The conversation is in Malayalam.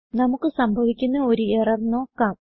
നമുക്ക് സംഭവിക്കുന്ന ഒരു എറർ നോക്കാം